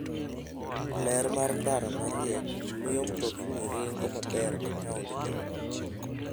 Ler mar ndara ma riek miyo mtokni ringo maber e taondno.